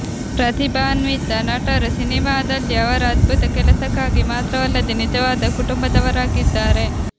ಪ್ರತಿಭಾನ್ವಿತ ನಟರು ಸಿನೆಮಾದಲ್ಲಿ ಅವರ ಅದ್ಭುತ ಕೆಲಸಕ್ಕಾಗಿ ಮಾತ್ರವಲ್ಲದೆ ನಿಜವಾದ ಕುಟುಂಬದವರಾಗಿದ್ದಾರೆ